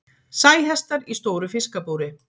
Sæhestar í stóru fiskabúri.